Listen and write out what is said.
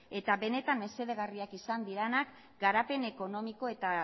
eta benetan mesedegarriak izango direnak garapen ekonomiko eta